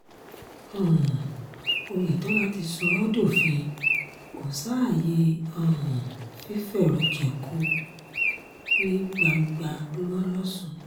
um oyetola ti sọ ọ́ dófin kò sáàyè um fífẹ̀rọ̀jẹ̀ko ní gbangba mo lòsùn